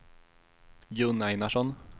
Gun Einarsson